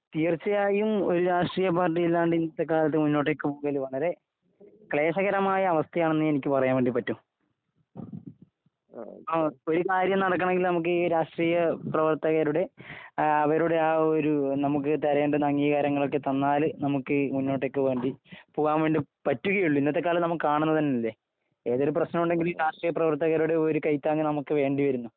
തീർച്ചയായും ഒരു രാഷ്ട്രീയ പാർട്ടിയില്ലാതെ ഇന്നത്തെ കാലത്ത് മുന്നോട്ടേക്ക് പോകാൻ വളരെ ക്ലേശകരമായ അവസ്ഥയാണ് എന്നേ എനിക്ക് പറയാൻ വേണ്ടി പറ്റു ഒരു കാര്യം നടത്തണമെങ്കിൽ ഈ രാഷ്ട്രീയ പ്രവർത്തകരുടെ അവരുടെ ആ ഒരു നമുക്ക് തരേണ്ടുന്ന അംഗീകാരം ഒക്കെ തന്നാൽ നമ്മുക്ക് മുന്നോട്ടേക്ക് പോകാൻ വേണ്ടി പറ്റുകയുള്ളു ഇന്നത്തെ കാലത്ത് കാണുന്നതല്ലേ ഏതെങ്കിലും പ്രശ്നമുണ്ടെങ്കിൽ ഈ രാഷ്ട്രീയ പ്രവർത്തകരുടെ ഒരു കൈ താങ് നമ്മുക്ക് വേണ്ടി വരുന്നു